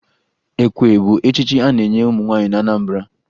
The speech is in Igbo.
Ekwe bụ echichi a na-enye ụmụ nwaanyị na Anambara